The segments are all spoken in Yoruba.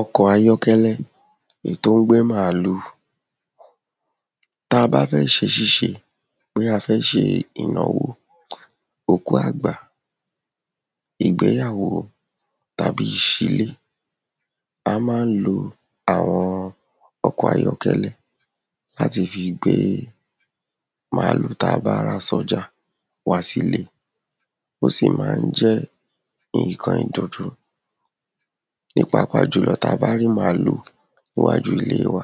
Ọkọ̀ ayọ́kẹ́lẹ́ èyí tó ń gbé màlúù Tá bá fẹ́ ṣe ìṣíṣe bóyá a fẹ́ ṣe ìnáwó, òkú àgbà, ìgbéyàwó, tàbí ìṣílé, a má ń lo àwọn ọkọ̀ ayọ́kẹ́lẹ́ láti fi gbé màlúù tába rà sọ́jà wá síle Ó sì má ń jẹ́ nǹkan ìdùnún Ní pàápàá jùlọ tábá rí màlúù iwájú ilé wa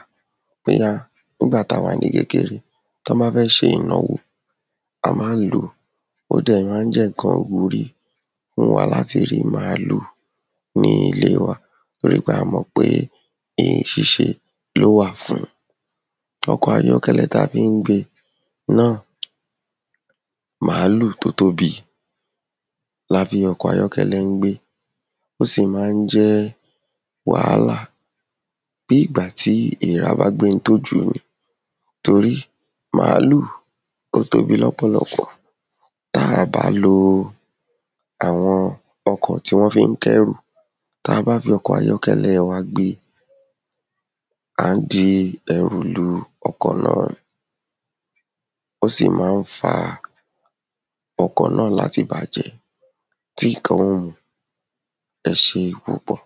bóyá nígbà tawà ní kékeré tí wọ́n bá fẹ́ ṣe ìnáwó a má ń lòó Ó dẹ̀ má ń jẹ́ nǹkan ìwúrí fún wa láti rí màlúù ní ilé wa torí pé a mọ̀ pé ìyìn ṣíṣe lówà fún Ọkọ̀ ayọ́kẹ́lẹ́ ta fi ń gbé naa màlúù tó tóbi lafi ọkọ̀ ayọ́kẹ́lẹ́ ń gbé Ó sì má ń jẹ́ wàhálà bí ìgbà tí èèrà bá gbé oun tí ó jù ú ni torí màlúù ó tóbi lọ́pọ̀lọpọ̀ táàbá lo àwọn ọkọ̀ tí wọ́n fi ń kẹ́rù tabá fi ọkọ̀ ayọ́kẹ́lẹ́ wa gbé a ń di ẹrù lu ọkọ̀ náà ni Ó sì má ń faa ọkọ̀ náà láti bàjẹ́ tí nǹkan ó mu ẹ ṣé púpọ̀